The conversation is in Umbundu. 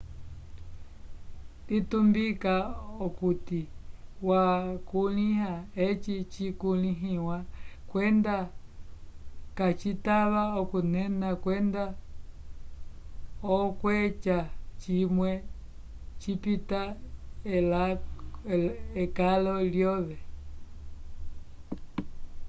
litumbika okuti wakulĩha eci cikulĩhiwa kwenda kacitava okunena kwenda okweca cimwe cipita ekalo lyove